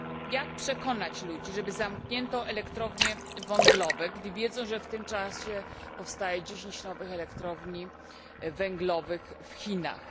Jak przekonać ludzi, że należy zamknąć elektrownie węglowe, gdy wiedzą, że w tym czasie powstaje 10 nowych elektrowni węglowych w Chinach?